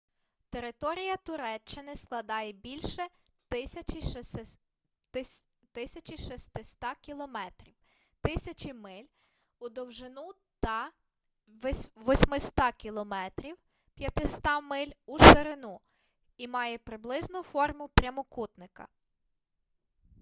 територія туреччини складає більше 1600 кілометрів 1000 миль у довжину та 800 км 500 миль у ширину і має приблизну форму прямокутника